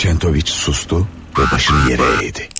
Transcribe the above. Çentoviç susdu və başını yerə əydi.